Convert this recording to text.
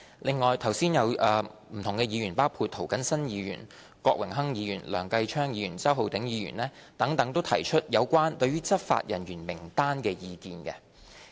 另外，剛才有不同的議員，包括涂謹申議員、郭榮鏗議員、梁繼昌議員、周浩鼎議員等，都提出對有關執法人員名單的意見。